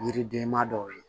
Yiridenma dɔw ye